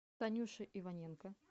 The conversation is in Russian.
танюши иваненко